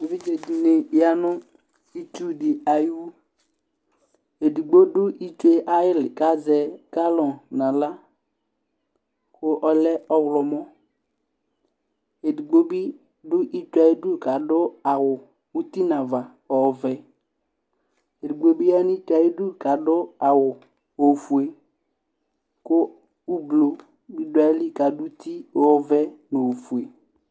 Evidze dɩnɩ ya nʋ itsu dɩ ayʋ ɩwʋ Edigbo dʋ itsu yɛ ayili kʋ azɛ galɔnɩ nʋ aɣla kʋ ɔlɛ ɔwlɔmɔ Edigbo bɩ dʋ itsu yɛ ayʋ idu kʋ adʋ awʋ uti nʋ ava ɔvɛ Edigbo bɩ ya nʋ itsu yɛ ayʋ idu kʋ adʋ awʋ ofue, kʋ ʋblʋ bɩ dʋayili ka nʋ uti ɔvɛ nʋ ofue